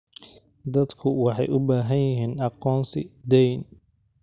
Dadku waxay u baahan yihiin aqoonsi deyn.